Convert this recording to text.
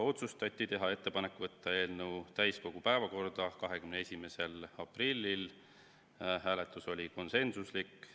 Otsustati teha ettepanek võtta eelnõu täiskogu päevakorda 21. aprilliks, hääletus oli konsensuslik.